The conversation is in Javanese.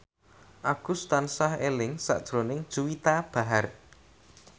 Agus tansah eling sakjroning Juwita Bahar